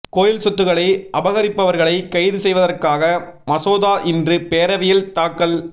கோயில் சொத்துக்களை அபகரிப்பவர்களை கைது செய்வதற்காக மசோதா இன்று பேரவையில் தாக்கல்